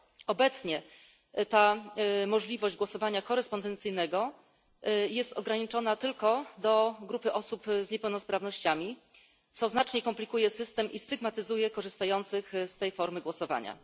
Obecnie ta możliwość głosowania korespondencyjnego jest ograniczona tylko do grupy osób z niepełnosprawnościami, co znacznie komplikuje system i stygmatyzuje korzystających z tej formy głosowania.